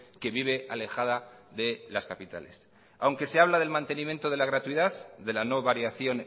que vive alejada de las capitales aunque se habla del mantenimiento de la gratuidad de la no variación